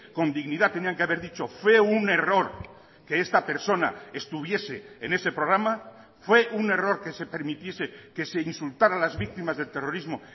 con dignidad tenían que haber dicho fue un error que esta persona estuviese en ese programa fue un error que se permitiese que se insultara a las víctimas del terrorismo